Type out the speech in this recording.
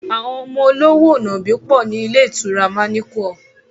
Àwọn ọmọ olówò nàbì pọ̀ ní ilé ìtura manequal